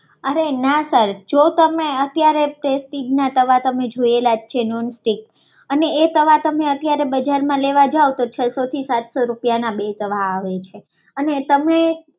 અરે ના સર જો તમે અત્યારે પ્રેસ્ટીજના તવા તમે જોયલા જ છે અને એ તવા અમે બજારમાં લેવા જાવ છો તો છસો થી સાતસો રૂપિયામાં બે તવા આવે છે